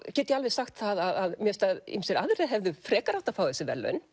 get ég alveg sagt að mér finnst að ýmsir aðrir hefðu frekar átt að fá þessi verðlaun